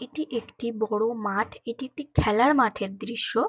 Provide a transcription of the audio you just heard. এটি একটি বড় মাঠ। এটি একটি খেলার মাঠের দৃশ্য ।